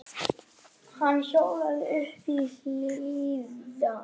Hann hjólaði uppí Hlíðar.